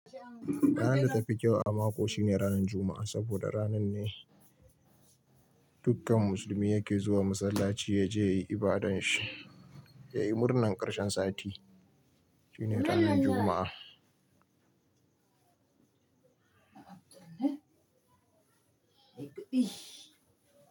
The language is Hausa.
Ranan da tafi kyau a mako shine ranar Juma'a saboda ranar ne dukkan musulmi yake zuwa masallaci ya je ya yi ibadan shi, ya yi murnan karshen sati. Shine ranar Juma'a.